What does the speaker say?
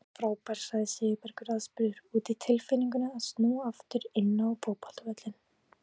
Hún var frábær sagði Sigurbergur aðspurður út í tilfinninguna að snúa aftur inn á fótboltavöllinn.